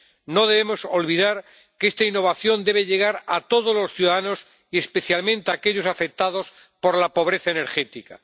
No debemos olvidar que esta innovación debe llegar a todos los ciudadanos y especialmente a aquellos afectados por la pobreza energética.